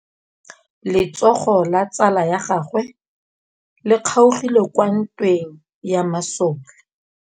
Letsôgô la tsala ya gagwe le kgaogile kwa ntweng ya masole.